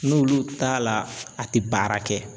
N'olu t'a la a tɛ baara kɛ